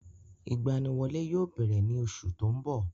Ìgbaniwọlé yóò bẹ̀rẹ̀ ní oṣù tó ń bọ̀.